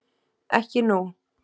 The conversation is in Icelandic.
Ekki nú.